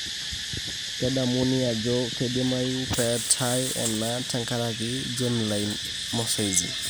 Kedamuni aajo keidimayu peetaa ena tenkaraki germline mosaicism.